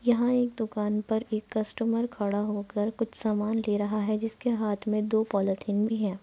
यहाँ एक दुकान पर एक कस्टमर खड़ा होकर कुछ सामान ले रहा है जिसके हाथ में दो पॉलिथीन भी है ।